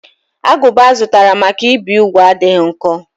Agụba azụtara maka ibi úgwù adịghị nkọ.